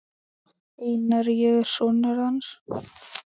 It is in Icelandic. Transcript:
Einar, ég er sonur. hans.